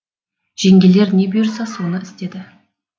жеңгелер не бұйырса соны істейді